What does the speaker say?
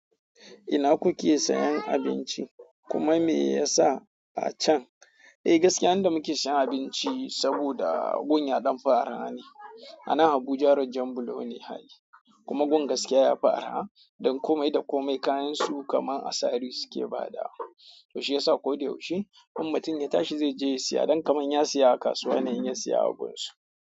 Ina kuke siyan abinci? Kuma meyasa a chan? Eh gaskiya inda muke sayan abinci saboda gun ya ɗan fi arha ne. A nan Abuja rajan bulo ne hali kuma gun gaskiya yafi arah don komai da komai kayansu kaman asari suke bada. To shi yasa ko da yaushe in mutum ya tashi zai je ya siya, dan kaman ya siya a kasuwa ne in ya siya a gunsu.